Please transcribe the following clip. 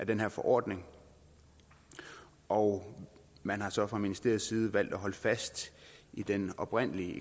den her forordning og man har så fra ministeriets side valgt at holde fast i den oprindelige